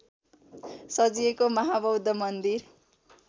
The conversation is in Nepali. सजिएको महाबौद्ध मन्दिर